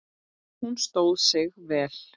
Hún stóð sig vel.